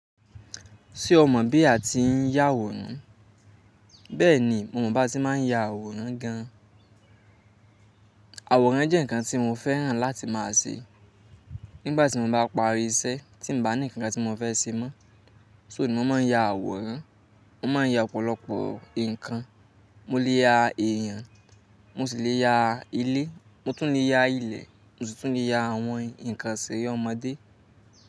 Ṣé o mọ̀ bí a ti ń yá àwòrán? Bẹ́ẹ̀ni, mo mọ̀ bí a ti máa ń yá àwòrán gan. Àwòrán jẹ́ ǹkan tí mo fẹ́ràn láti máa ṣe. Nígbà tí mo bá parí iṣẹ́ tí nbàa ní ǹkan tí mo fẹ́ ṣe mọ́, só mo máa ń ya àwòrán. Mo máa ń ya ọ̀pọ̀lọpọ̀ ǹkan. Mo lè ya èèyàn, mo sì lè ya ilé, mo tún lè ya ilẹ̀, mo sì tún lè ya àwọn ǹkan ìṣeré ọmọdé.